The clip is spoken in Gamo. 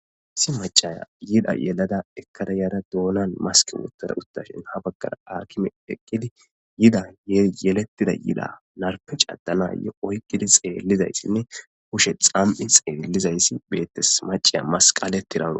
si machaya yida yelada ekkara yaara doonan maski uttara uttashin ha baggara arkime eqqidi yida yyelettida yida narpec addana ye oykkidi xeellizaysinne kushe xam7i xeellizayssi beetes maciya masqale tirando